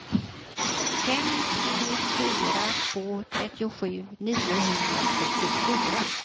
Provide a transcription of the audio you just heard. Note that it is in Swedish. fem tre fyra två trettiosju niohundrasjuttiofyra